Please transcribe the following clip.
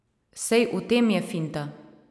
Sej v tem je finta.